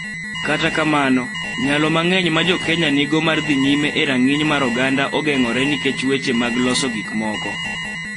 Kata kamano, nyalo mang�eny ma Jo-Kenya nigo mar dhi nyime e rang�iny mar oganda ogeng�ore nikech weche mag loso gikmoko .